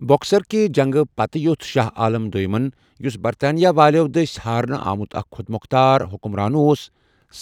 بکسر کہِ جنگہ پتہٕ یوژھ شاہ عالم دویمن ، یُس برطانیہ والیو دٕسہِ ہارنہ آمُت اكھ خوٚد موٚختار حُكمران اوس